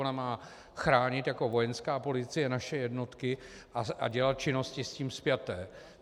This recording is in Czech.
Ona má chránit jako Vojenská policie naše jednotky a dělat činnosti s tím spjaté.